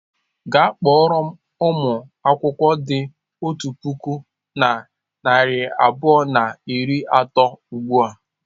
Gaa kpọrọ m ụmụ akwụkwọ dị otu puku na narị abụọ na iri atọ ugbu a!